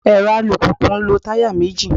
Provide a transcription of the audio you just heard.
Èrọ alùpùpù ń lo táyà méjì.